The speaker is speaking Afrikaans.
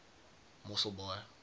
mosselbaai